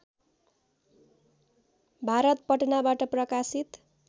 भारत पटनाबाट प्रकाशित